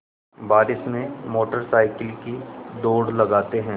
बारिश में motor cycle की दौड़ लगाते हैं